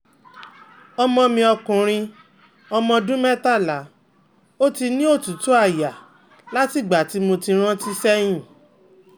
ọmọ mi ọkùnrin ọmọ ọdún mẹ́tàlá, ó ti ní otutu aya látìgbà tí mo rántí seyin